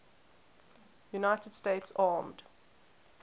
united states armed